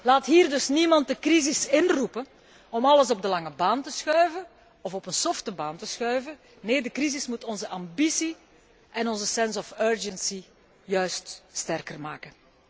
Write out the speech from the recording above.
Laat hier dus niemand de crisis inroepen om alles op de lange of op de softe baan te schuiven, nee, de crisis moet onze ambitie en onze sense of urgency juist sterker maken.